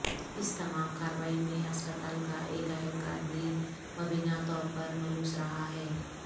اس تمام کاروائی میں ہسپتال کا ایک اہلکار بھی مبینہ طور پر ملوث رہا ہے